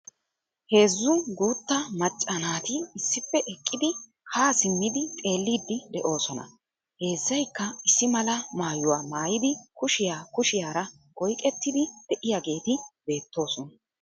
Heezzu guuttaa macca naati issippe eqqidi ha simmidi xeellidi de'oosona. Heezaykka issi mala maayuwa maayidi kushiya kushiyaara oyqqetidi de'iyageeti beettoosona.